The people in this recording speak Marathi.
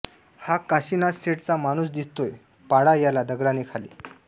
हा काशीनाथशेठचा माणुस दिसतोय पाडा याला दगडाने खाली